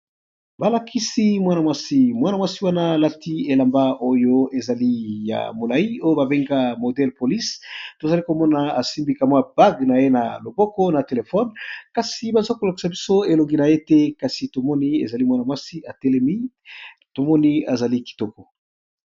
Balakisi mwana mwasi alati elamba ya molayi modèle police tozali komona asimbi bague naye na loboko na téléphone kasi bazolakisa biso elongi naye té kasi tomoni atelemi aza kitoko.